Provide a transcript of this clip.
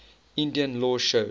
indian law shows